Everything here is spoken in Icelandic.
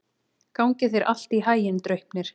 Gangi þér allt í haginn, Draupnir.